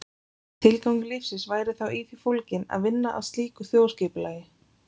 Tilgangur lífsins væri þá í því fólginn að vinna að slíku þjóðskipulagi.